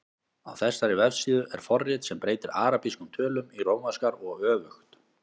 Á þessari vefsíðu er forrit sem breytir arabískum tölum í rómverskar og öfugt.